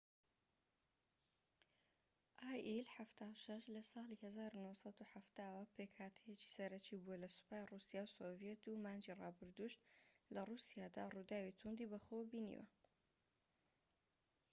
ئای ئیل 76 لە ساڵی 1970ەوە پێکهاتەیەکی سەرەکی بووە لە سوپای ڕووسیا و سۆڤیەت و مانگی ڕابردوودش لە ڕووسیادا ڕووداوی توندی بەخۆوە بینیوە